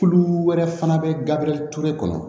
Tulu wɛrɛ fana bɛ gari ture kɔnɔ